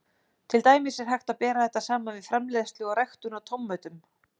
Til dæmis er hægt að bera þetta saman við framleiðslu og ræktun á tómötum.